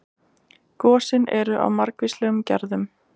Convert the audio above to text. Gosin eru af margvíslegum gerðum.